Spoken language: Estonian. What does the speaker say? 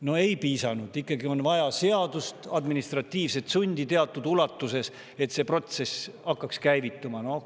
No ei piisanud, ikkagi on vaja seadust, administratiivset sundi teatud ulatuses, et see protsess käivituks.